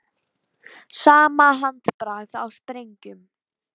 Sama handbragð á sprengjum